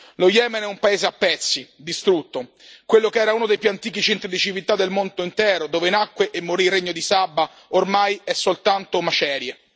Lo Yemen è un paese a pezzi, distrutto. Quello che era uno dei più antichi centri di civiltà del mondo intero, dove nacque e morì il Regno di Saba, ormai è soltanto macerie.